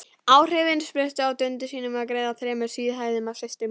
Áhrifin spruttu af dundi mínu við að greiða þremur síðhærðum systrum mínum.